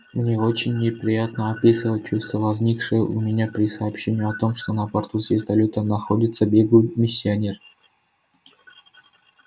мне очень неприятно описывать чувства возникшие у меня при сообщении о том что на борту звездолёта находится беглый миссионер